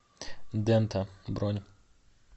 дента бронь